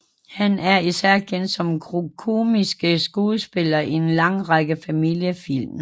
Han er især kendt som komisk skuespiller i en lang række familiefilm